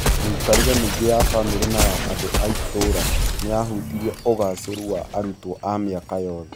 Mĩikarĩre mĩingĩ ya famĩrĩ na ya andũ a itũũra nĩ yahutirie ũgaacĩru wa arutwo a mĩaka yothe.